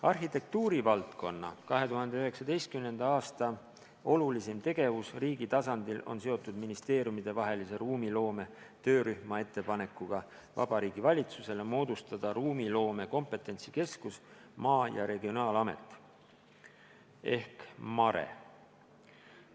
Arhitektuurivaldkonna 2019. aasta olulisim tegevus riigi tasandil on seotud ministeeriumidevahelise ruumiloome töörühma ettepanekuga Vabariigi Valitsusele moodustada ruumiloome kompetentsikeskus Maa- ja Regionaalamet ehk MaRe.